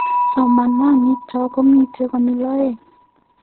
Somananitok komii konyil oeng